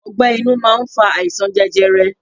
Ọgbẹ́ inú máa ń fa àìsàn jẹjẹrẹ.